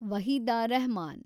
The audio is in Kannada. ವಹೀದಾ ರೆಹಮಾನ್